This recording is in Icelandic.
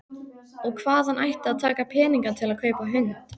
Og hvaðan ætti að taka peninga til að kaupa hund?